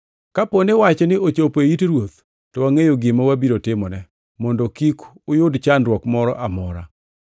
Kapo ni wachni ochopo e it ruoth, to wangʼeyo gima wabiro timone, mondo kik uyud chandruok moro amora.”